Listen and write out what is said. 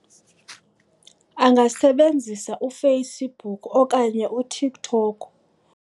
Angasebenzisa uFacebook okanye uTikTok.